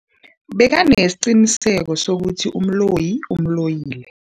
Bekanesiqiniseko sokuthi umloyi umloyile.